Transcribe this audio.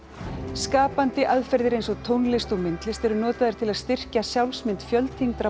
skapandi aðferðir eins og tónlist og myndlist eru notaðar til að styrkja sjálfsmynd